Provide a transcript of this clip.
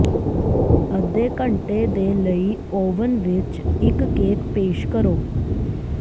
ਅੱਧੇ ਘੰਟੇ ਦੇ ਲਈ ਓਵਨ ਵਿੱਚ ਇੱਕ ਕੇਕ ਪੇਸ਼ ਕਰੋ